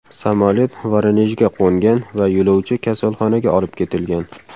Samolyot Voronejga qo‘ngan va yo‘lovchi kasalxonaga olib ketilgan.